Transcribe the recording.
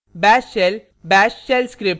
* bash shell bash shell script